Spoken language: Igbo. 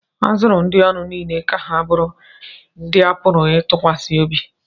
a zụrụ ndị ọrụ niile ka ha bụrụ ndị a pụrụ ịtụkwasị obi